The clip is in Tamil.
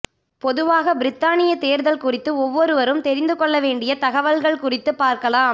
பொதுவாக பிரித்தானியா தேர்தல் குறித்து ஒவ்வொருவரும் தெரிந்து கொள்ள வேண்டிய தகவல்கள் குறித்து பார்க்கலாம்